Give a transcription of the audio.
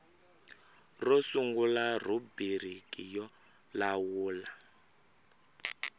ro sungula rhubiriki yo lawula